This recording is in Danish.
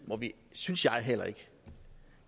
synes jeg heller ikke